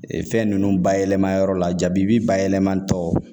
Ee fɛn ninnu bayɛlɛma yɔrɔ la jabi bayɛlɛma tɔ